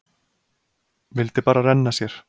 Vildi bara renna sér.